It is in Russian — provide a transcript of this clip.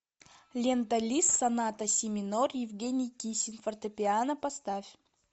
лента лист соната си минор евгений кисин фортепиано поставь